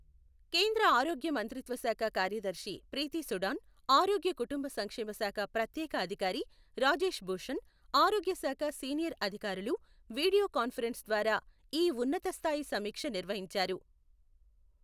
కేేంద్ర ఆరోగ్య మంత్రిత్వ శాఖ కార్యదర్శి ప్రీతీ సుడాన్, ఆరోగ్య, కుటుంబ సంక్షేమ శాఖ ప్రత్యేక అధికారి రాజేశ్ భూషణ్, ఆరోగ్య శాఖ సీనియర్ అధికారులు వీడియో కాన్ఫరెన్స్ ద్వారా ఈ ఉన్నతస్థాయి సమీక్ష నిర్వహించారు.